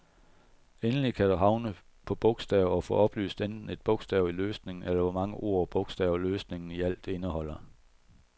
Endelig kan du havne på bogstav og få oplyst enten et bogstav i løsningen, eller hvor mange ord og bogstaver løsningen i alt indeholder.